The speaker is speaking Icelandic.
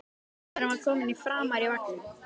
Sonurinn var kominn framar í vagninn.